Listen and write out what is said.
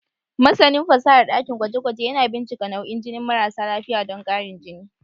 Masanin fasahar dakin gwaje-gwaje yana bincika nau'in jinin marasa lafiya don ƙarin jini.